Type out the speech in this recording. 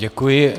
Děkuji.